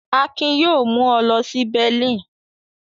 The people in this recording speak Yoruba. Akin yóò mú ọ lọ sí Berlin.